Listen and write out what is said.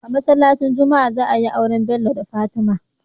A masalaci juma'a za ayi aure Bello da fatima